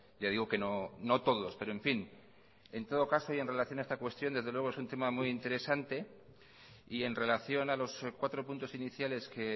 ya digo que no todos pero en fin en todo caso y en relación a esta cuestión desde luego es un tema muy interesante y en relación a los cuatro puntos iniciales que